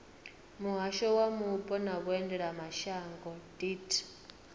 muhasho wa mupo na vhuendelamashango deat